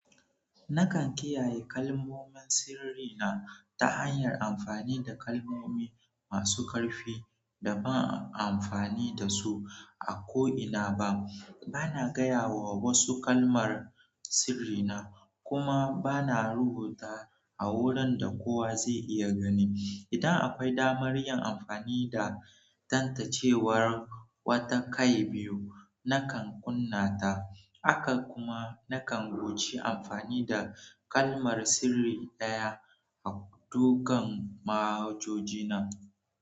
Nakan kiyaye kalmomin sirri na ta hanyar amfani da kalmomi masu ƙarfi da ba'a amfani da su a ko'ina ba. Bana gaya wa wasu kalmar sirri na kuma bana rubuta a wurin da kowa zai iya gani. Idan akwai damar yin amfani da tantancewar wata kai biyu, nakan kunna ta, haka kuma nakan guji amfani da kalmar sirri ɗaya a dogon manhajoji na.